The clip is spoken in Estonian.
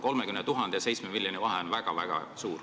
30 000 ja 7 miljoni vahe on väga-väga suur.